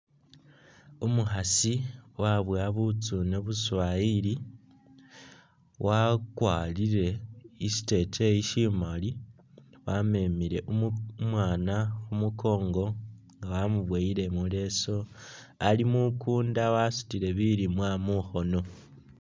Umukhaasi waboowa butsuune buswayili, wakwarile siteteyi simaali, wamemile umwaana khumunkoongo wamuboyile muleesu ali mukunda wasutile bilimwa mukhono